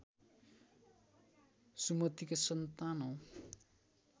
सुमतिका सन्तान हौ